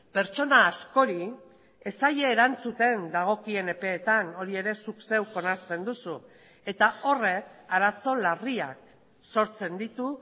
pertsona askori ez zaie erantzuten dagokien epeetan hori ere zuk zeuk onartzen duzu eta horrek arazo larriak sortzen ditu